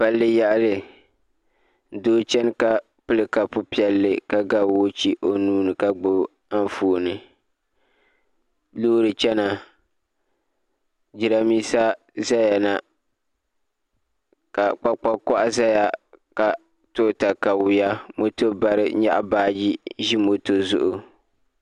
Palli yaɣali doo chɛni ka pili kapu piɛlli ka ga woochi o nuuni ka gbubi Anfooni loori chɛna jiranbiisa ʒɛya na ka kpakpa koha ʒɛya ka to katawiya moto bari nyaɣa baaji ʒi moto zuɣu